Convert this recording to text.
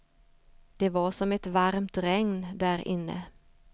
Det var som ett varmt regn därinne.